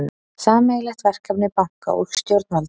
Sameiginlegt verkefni banka og stjórnvalda